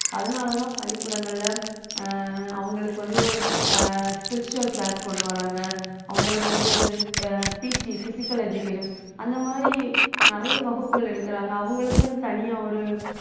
அதனாலதான் பள்ளிக்கூடங்கள்ல ஆஹ் அவங்களுக்கு வந்து, ஆஹ் spiritual class கொண்டு வர்றாங்க அவங்களுக்கு வந்து, இந்த ஆஹ் PTphysical education அந்த மாதிரி, நிறைய வகுப்புகள் எடுக்கறாங்க அவங்களுக்குன்னு தனியா ஒரு